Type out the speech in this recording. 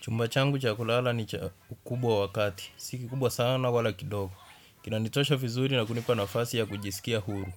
Chumba changu cha kulala ni kikubwa wakati. Siki kubwa sana wala kidogo. Kina nitosha vizuri na kunipa nafasi ya kujisikia huru.